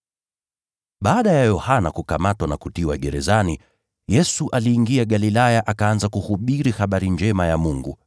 Baada ya Yohana kukamatwa na kutiwa gerezani, Yesu aliingia Galilaya akaanza kuhubiri habari njema ya Mungu,